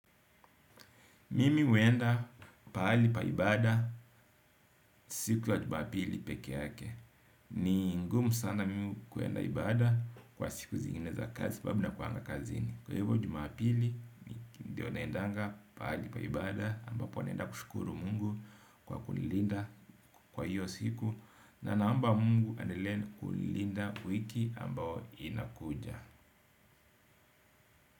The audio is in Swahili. Mimi huenda pahali pa ibaada siku ya jumapili peke yake. Ni ngumu sana mimi kuenda ibaada kwa siku zingine za kazi sababu nakuanga kazini. Kwa hivyo jumapili, ndiyo naendanga pahali pa ibaada ambapo naenda kushukuru mungu kwa kunilinda kwa hiyo siku. Na naomba mungu aendelee na kunilinda wiki ambao inakuja.